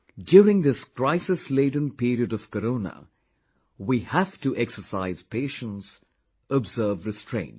during this crisisladen period of Corona, we have to exercise patience, observe restraint